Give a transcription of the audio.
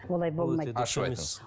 олай болмайды ашып айтыңыз